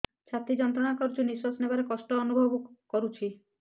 ଛାତି ଯନ୍ତ୍ରଣା କରୁଛି ନିଶ୍ୱାସ ନେବାରେ କଷ୍ଟ ଅନୁଭବ କରୁଛି